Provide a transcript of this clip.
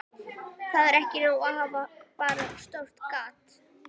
Það er ekki nóg að hafa bara stórt gat